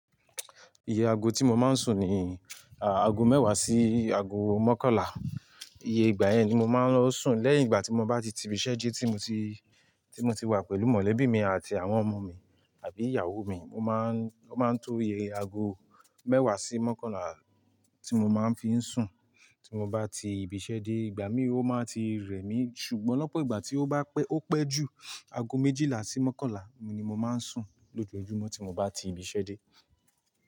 Iye ago tí mo máa ń sùn ni, a, ago mẹ́wàá sí ago mọ́kànlá. Iye ìgbà yẹn ni mo máa ń lọ sùn. Lẹ́yìn ìgbà tí mo bá ti ti ibiṣẹ́ dé tí mo ti, tí mo ti wá pẹ̀lú mọ̀lẹ́bí mi àti àwọn ọmọ mi abí ìyàwó mi, o máa ń, ọ́ máa ń to iye ago mẹ́wàá sí mọ́kànlá tí mo máa ń fi ń sùn tí mo bá ti ibiṣẹ́ dé. Ìgbà mí ó máa ti rẹ̀ mí ṣùgbọ́n lọ́pọ̀ ìgbà tí ó bá pẹ́, ó pẹ́ jù, ago méjìlá sí mọ́kànlá ni mo máa ń sùn lójoojúmọ́ tí mo bá ti ibiṣẹ́ dé.